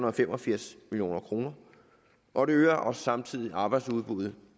og fem og firs million kr og det øger også samtidig arbejdsudbuddet